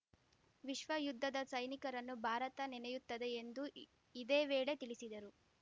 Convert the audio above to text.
ವಿಶ್ವ ಯುದ್ಧದ ಸೈನಿಕರನ್ನು ಭಾರತ ನೆನೆಯುತ್ತದೆ ಎಂದು ಇದೇ ವೇಳೆ ತಿಳಿಸಿದರು